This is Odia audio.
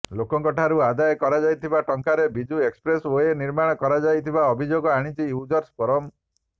ଲୋକଙ୍କ ଠାରୁ ଆଦାୟ କରାଯାଇଥିବା ଟଙ୍କାରେ ବିଜୁ ଏକ୍ସପ୍ରେସ ଓ୍ବେ ନିର୍ମାଣ କରାଯାଇଥିବା ଅଭିଯୋଗ ଆଣିଛି ୟୁଜର୍ସ ଫୋରମ